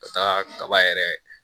Ka taa kaba yɛrɛ